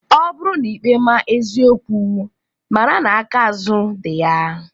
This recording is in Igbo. Ọ bụrụ na ikpe ma eziokwu mara na aka azụ di ya.